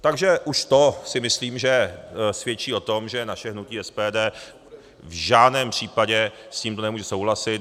Takže už to si myslím, že svědčí o tom, že naše hnutí SPD v žádném případě s tímto nemůže souhlasit.